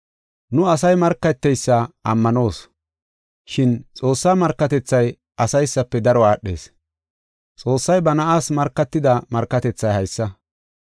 Nu asay markateysa ammanoos. Shin Xoossaa markatethay asaysafe daro aadhees. Xoossay ba Na7aas markatida markatethay haysa.